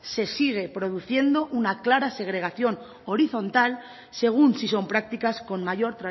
se sigue produciendo una clara segregación horizontal según si son prácticas con mayor